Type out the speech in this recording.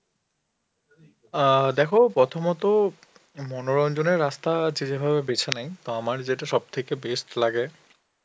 অ্যাঁ দেখো প্রথমত উম মনোরঞ্জনের রাস্তা যে যেভাবে বেছে নেই তো আমার যেটা সব থেকে best লাগে.